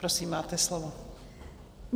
Prosím, máte slovo.